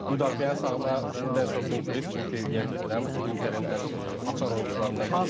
Müdafiənin sağına Dumfries, çünki yenə də deyirəm, Interin ən açar oyunçularından biri idi.